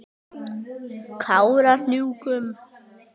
Kárahnjúkum